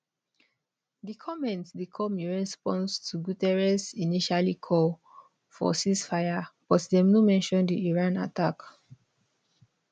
di comments dey come in response to guterres initially call for ceasefire but dem no mention di iran attack